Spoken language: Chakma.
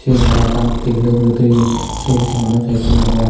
siyen tara ekkan tebilo ugure toyon sey pijedi manuj hoiekkun agon.